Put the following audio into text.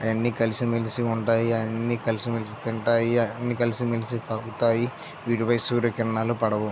అవన్నీ కలిసి మెలిసి ఉంటాయి అన్ని కలిసి మెలిసి తింటాయి అన్ని కలిసి మెలిసి తాగుతాయ్ వీటిపై సూర్యకిరణాలు పడవు.